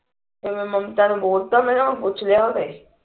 ਫੇਰ ਮੈਂ ਮਮਤਾ ਨੂੰ ਬੋਲਤਾ ਮੈਂ ਕਿਹਾ ਪੁੱਛ ਲੀਆ ਓਨੇ